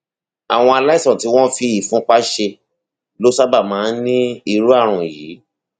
àwọn aláìsàn tí wọn fi ìfúnpá ṣe ló sábà máa ń ní irú ààrùn yìí